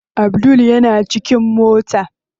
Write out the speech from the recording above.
Abdul yana cikin mota.